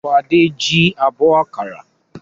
Fadé jí abọ́ àkàrà?